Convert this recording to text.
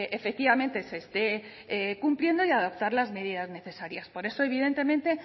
efectivamente se esté cumpliendo y adoptar las medidas necesarias por eso evidentemente